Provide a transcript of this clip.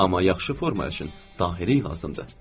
Amma yaxşı forma üçün daxili lazımdır.